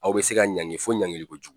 Aw bɛ se ka ɲangi fo ɲangiliko jugu.